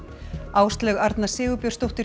Áslaug Arna Sigurbjörnsdóttir